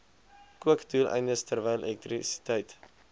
kookdoeleindes terwyl elektrisiteit